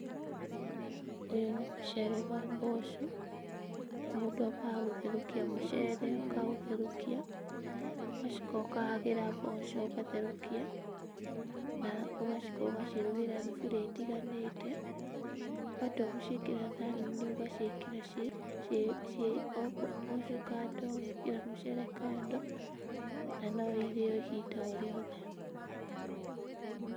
Ũyũ nĩ mũcere wa mboco, na mũndũ ambaga gũtherũkia mũcere akaũtherũkia, ũgacoka ũkahagĩra mboco ũgatherũkia na ũgacoka ũgacirugĩra thuburia itiganĩte. Watua gũciĩkĩra thani-inĩ ũgaciĩkĩra ciĩ ciĩ ciĩ o mboco kando ũgekĩra mũcere kando na no ihĩe o ihinda o rĩothe.